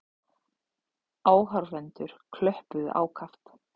Áhorfendur klöppuðu ákaft.